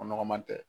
O nɔgɔman tɛ